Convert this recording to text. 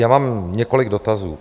Já mám několik dotazů.